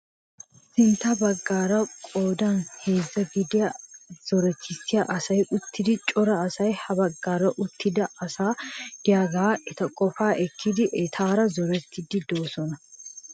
Sintta baggaara qoodan heezzaa gidiyaa zoretissiyaa asati uttidi cora asay ha baggaara duttida asay de'iyaagaa eta qofaa ekkidi etaara zorettiidi de'oosona.